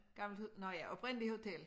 Gammelt nåh ja oprindeligt hotel